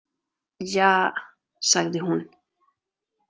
Ja, sagði hún.